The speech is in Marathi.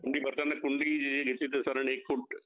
कुंडी भरताना कुंडी एक फूट